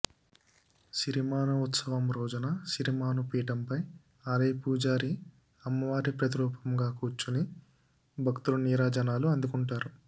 సిరిమాను ఉత్సవం రోజున సిరిమాను పీఠంపై ఆలయ పూజారి అమ్మవారి ప్రతిరూపంగా కూర్చొని భక్తుల నీరాజనాలు అందుకుంటారు